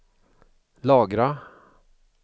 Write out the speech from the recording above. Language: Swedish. lagra